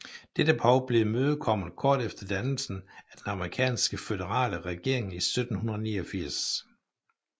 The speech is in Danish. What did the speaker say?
Dette behov blev imødekommet kort efter dannelsen af den amerikanske føderale regering i 1789